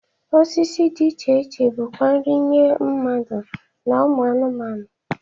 Osisi dị iche iche bụkwa nri nye mmadụ na ụmụ anụmanụ.